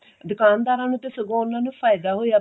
ਦੁਕਾਨਦਾਰਾਂ ਨੂੰ ਤੇ ਸਗੋਂ ਉਹਨਾਂ ਨੂੰ ਫਾਇਦਾ ਹੋਇਆ ਪਿਆ